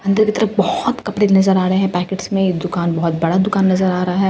अंदर की तरफ बहुत कपड़े नजर आ रहे हैं पैकेट्स में ये दुकान बहुत बड़ा दुकान नजर आ रहा है।